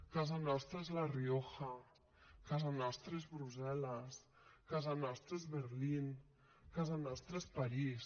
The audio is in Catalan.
casa nostra és la rioja casa nostra és brussel·les casa nostra és berlín casa nostra és parís